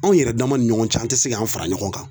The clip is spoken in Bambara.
Anw yɛrɛ dama ni ɲɔgɔn cɛ ,an te se k'an fara ɲɔgɔn kan.